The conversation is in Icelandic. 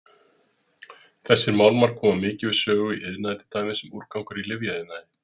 Þessir málmar koma mikið við sögu í iðnaði til dæmis sem úrgangur í lyfjaiðnaði.